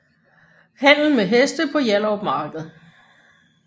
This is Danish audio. Handel med heste på Hjallerup Marked